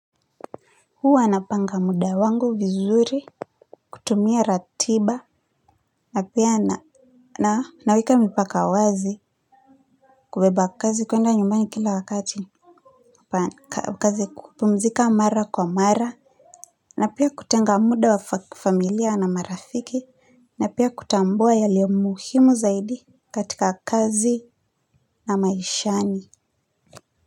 Huwa napanga muda wangu vizuri kutumia ratiba na pia naweka mipaka wazi kubeba kazi kuenda nyumbani kila wakati kazi kupumzika mara kwa mara na pia kutenga muda wa familia na marafiki na pia kutambua yaliyo muhimu zaidi katika kazi na maishani.